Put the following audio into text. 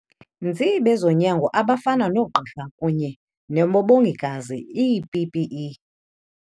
nzi bezonyango abafana noogqirha kunye nemabongikazi ii-PPE.